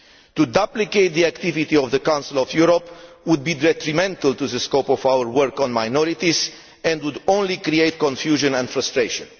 To duplicate the activity of the Council of Europe would be detrimental to the scope of our work on minorities and would only create confusion and frustration.